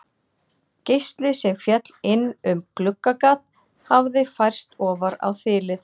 Geisli sem féll inn um gluggagat hafði færst ofar á þilið.